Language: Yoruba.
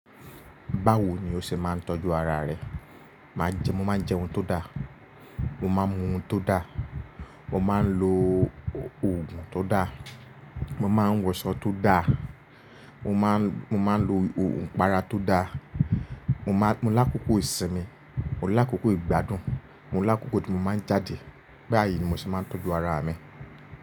Báwo ni o se máa ń tọ́jú ara rẹ? Mo máa ń jẹ ohun tó dà, mo máa ń mu ohun tó dà, mo máa ń lo òògùn tó dà, mo máa ń wọsọ tó dà, mo máa ń lo òògùn para tó dà, mo lákòókò ìsinmi, mo lákòókò ìgbádùn, mo lákòókò tí mo máa ń jáde. Báyìí ni mo ṣe máa ń tọ́jú ara mi.